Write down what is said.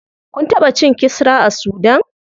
Kun taɓa cin kisra a sudan?